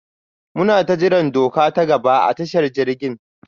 munata jiran doka ta gaba a tashar jirgin.